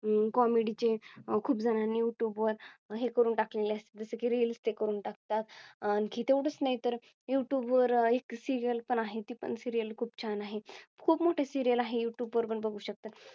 अं Comedy चे खूपजणांनी Youtube वर हे करून टाकलेले असतात. जसं की रेल ते करून टाकतात. आणखी तेवढेच नाही तर Youtube वर एक Serial पण आहे ती पण Serial खूप छान आहे. खूप मोठे Serial आहे. Youtube वर पण बघू शकता.